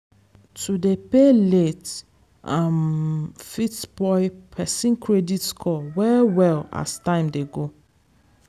to dey pay late um fit spoil person credit score well well as time dey go.